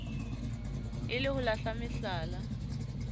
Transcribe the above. e le ho lahla mehlala